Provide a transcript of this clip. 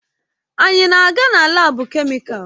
Anyị na-aga na laabu kemịkalụ?